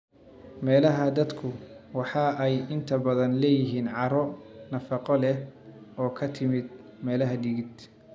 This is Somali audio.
Meelaha daadku waxa ay inta badan leeyihiin carro nafaqo leh oo ka timid meel-dhigid.